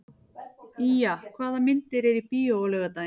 Ýja, hvaða myndir eru í bíó á laugardaginn?